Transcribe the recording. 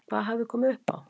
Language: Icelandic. Hvað hafði komið upp á?